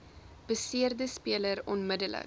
beseerde speler onmiddellik